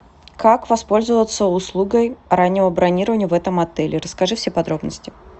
как воспользоваться услугой раннего бронирования в этом отеле расскажи все подробности